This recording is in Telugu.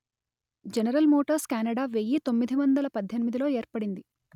జనరల్ మోటర్స్ కెనడా వెయ్యి తొమ్మిది వందలు పధ్ధెనిమిదిలో ఏర్పడింది